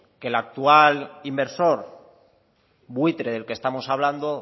que el actual inversor buitre del que estamos hablando